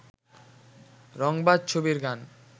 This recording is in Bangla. রংবাজ ছবির গান